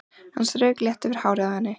Hann strauk létt yfir hárið á henni.